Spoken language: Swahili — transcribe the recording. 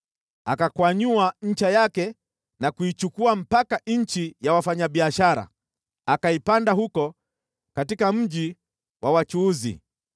akakwanyua ncha yake na kuichukua mpaka nchi ya wafanyabiashara, akaipanda huko katika mji wa wachuuzi.